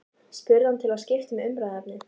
spurði hann til að skipta um umræðuefni.